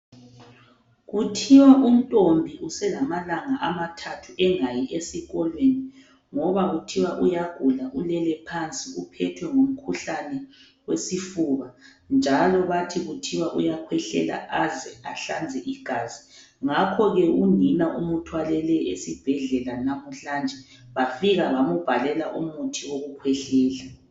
Kuthiwa uNtombi uselamalanga amathathu engayi esikolweni ngoba kuthiwa uyagula ulele phansi uphethwe ngumkhuhlane wesifuba, njalo bathi kuthiwa uyakhwehlela aze ahlanze igazi. Ngakho ke unina umuthwalele esibhedlela namuhlanje bafika bamubhalela umuthi wokukhwehlela .